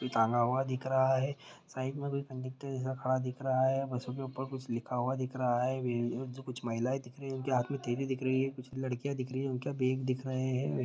यह टंगा हुआ दिख रहा है | साइड में कंडक्टर जैसा खड़ा दिख रहा है | बसो के ऊपर कुछ लिखा हुआ दिख रहा है | कुछ महिलाएं दिख रही हैं। उनके हाथ में थैली दिख रही है। कुछ लड़कियां दिख रही है। उनके बैग दिख रहे हैं।